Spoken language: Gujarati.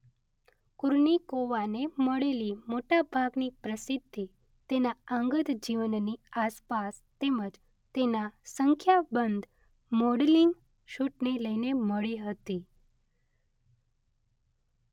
કુર્નિકોવાને મળેલી મોટા ભાગની પ્રસિદ્ધિ તેના અંગત જીવનની આસપાસ તેમ જ તેના સંખ્યાબંધ મોડલિંગ શૂટને લઈને મળી હતી.